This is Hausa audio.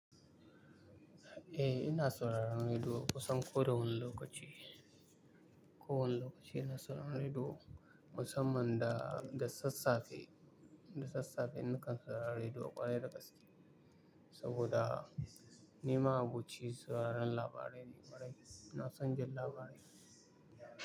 Eh, ina sauraron rediyo kusan ko da wani lokaci. Ko wane lokaci ina sauraron rediyo musamman da, da sassafe, da sassafe na kan saurari rediyo a ƙwarai da gaske saboda ni ma abuci sauraron labarai ne, kwarai ina son jin labarai.